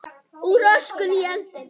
Úr öskunni í eldinn